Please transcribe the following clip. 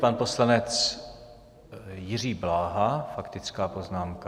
Pan poslanec Jiří Bláha, faktická poznámka.